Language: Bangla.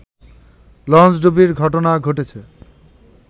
লঞ্চডুবির ঘটনা ঘটেছে